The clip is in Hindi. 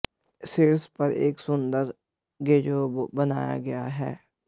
शीर्ष पर एक सुंदर गज़ेबो बनाया गया है